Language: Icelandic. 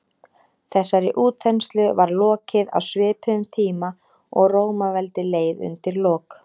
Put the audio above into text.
þessari útþenslu var lokið á svipuðum tíma og rómaveldi leið undir lok